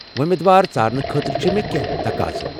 وۄمیدوار ژارنہٕ خٲطرٕ چھ مےٚ کیٚنٛہہ تقاضہٕ